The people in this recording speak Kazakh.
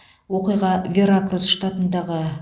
оқиға веракрус штатындағы